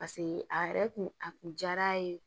Paseke a yɛrɛ kun a kun jar'a ye